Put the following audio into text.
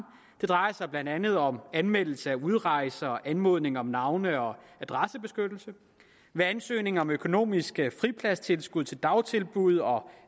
drejer sig blandt andet om anmeldelse af udrejser og anmodning om navne og adressebeskyttelse ved ansøgning om økonomisk fripladstilskud til dagtilbud og